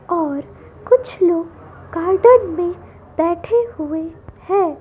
और कुछ लोग गार्डन में बैठे हुए हैं।